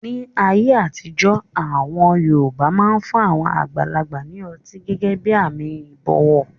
Ní ayé àtijọ́, àwọn yoòbá máa fun àwọn àgbàlagbà ní ọtí gẹ́gẹ́ bí àmì ìbọ̀wọ̀